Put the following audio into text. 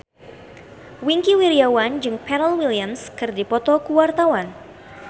Wingky Wiryawan jeung Pharrell Williams keur dipoto ku wartawan